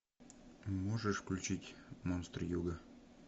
можешь включить монстры юга